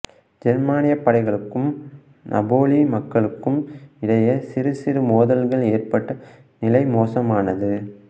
ஜெர்மானியப் படைகளுக்கும் நாபொலி மக்களுக்கும் இடையே சிறு சிறு மோதல்கள் ஏற்பட்டு நிலை மோசமானது